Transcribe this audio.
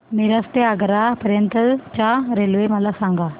मिरज ते आग्रा पर्यंत च्या रेल्वे मला सांगा